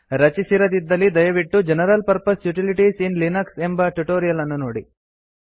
ರಚಿಸಿರದಿದ್ದಲ್ಲಿ ದಯವಿಟ್ಟು general purpose utilities in Linux ಎಂಬ tutorial ಅನ್ನು ನೋಡಿ